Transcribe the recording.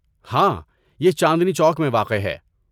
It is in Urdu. ہاں، یہ چاندنی چوک میں واقع ہے۔